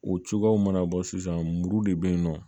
O cogoyaw mana bɔ sisan muru de bɛ yen nɔ